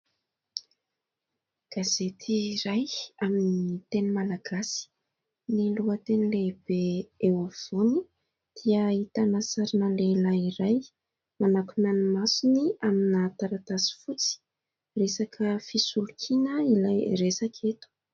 Gazety iray amin'ny teny Malagasy, ny lohateny lehibe eo afovoany dia ahitana sarina lehilahy iray manakona ny masony amina taratasy fotsy, resaka fisolokiana ilay resaka eto.